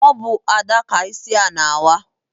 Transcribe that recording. Ọ bụ Ada ka isi na-awa.